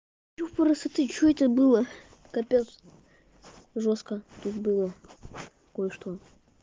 ё п р с т что это было капец жёстко тут было кое-что